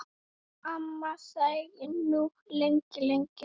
Amma þagði nú lengi, lengi.